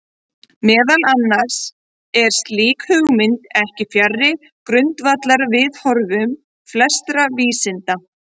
Meðal annars er slík hugmynd ekki fjarri grundvallarviðhorfum flestra vísinda.